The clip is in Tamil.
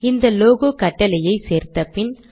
இந்த லோகோ கட்டளையை சேர்த்தபின்